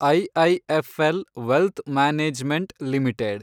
IIFL wealth management limited